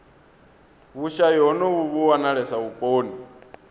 vhushayi honovhu vhu wanalesa vhuponi